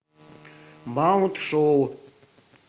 маунт шоу